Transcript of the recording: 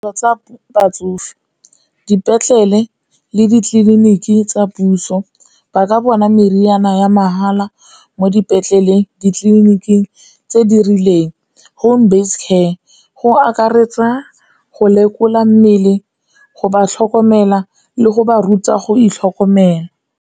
Tsa batsofe, dipetlele le ditleliniki tsa puso ba ka bona meriana ya mahala mo dipetleleng, ditleliniking tse di rileng, home base care, go akaretsa go lekola mmele, go ba tlhokomela le go ba ruta go itlhokomela.